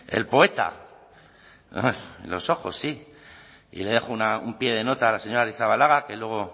el poeta en los ojos sí y le dejo un pie de nota a la señora arrizabalaga que luego